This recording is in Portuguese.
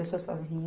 Eu sou sozin.